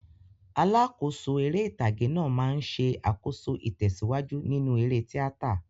Alákòóso eré ìtàgé náà máa ń ṣe àkóso ìtẹ̀síwájú nínú eré tíátà.